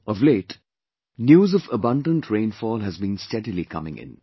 Of late, News of abundant rainfall has been steadily coming in